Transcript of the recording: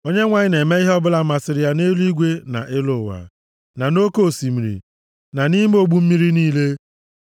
Onyenwe anyị na-eme ihe ọbụla masịrị ya nʼeluigwe na elu ụwa na nʼoke osimiri na nʼime ogbu mmiri niile.